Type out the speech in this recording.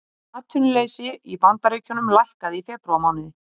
Atvinnuleysi í Bandaríkjunum lækkaði í febrúarmánuði